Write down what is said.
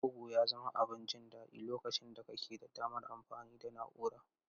Bugu ya zama abin jin daɗi lokacin da kake da damar amfani da na'ura.